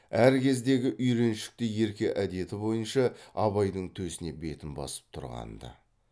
әр кездегі үйреншікті ерке әдеті бойынша абайдың төсіне бетін басып тұрғанды